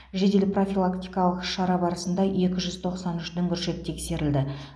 жедел профилактикалық шара барысында екі жүз тоқсан үш дүңгіршек тексерілді